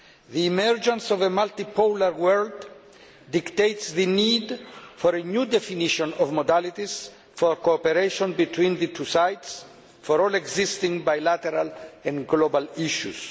The emergence of a multi polar world dictates the need for a new definition of modalities for cooperation between the two sides on all existing bilateral and global issues.